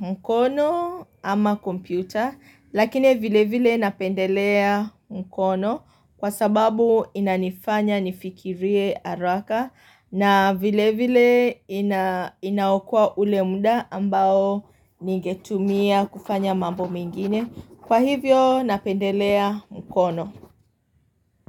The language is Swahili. mkono ama kompyuta lakini vile vile napendelea mkono kwa sababu inanifanya nifikirie haraka na vile vile inaokoa ule muda ambao ningetumia kufanya mambo mengine kwa hivyo napendelea mkono.